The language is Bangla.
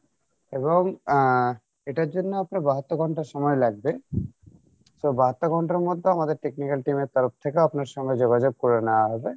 এবং আহ এটার জন্য আপনার বাহাত্তর ঘন্টা সময় লাগবে so বাহাত্তর ঘণ্টার মধ্যে আমাদের technical team এর তরফ থেকে আপনার সঙ্গে যোগাযোগ করে নেওয়া হবে